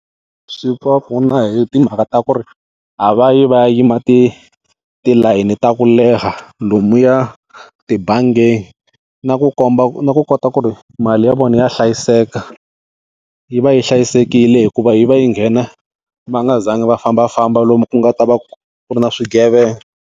Swi va pfuna hi timhaka ta ku ri a va yi va ya yima tilayini ta ku leha lomuya tibangini, na ku komba na ku kota ku ri mali ya vona ya hlayiseka, yi va yi hlayisekile hikuva yi va yi nghena va nga zangi va fambafamba lomu ku nga ta va ku ri na swigevenga.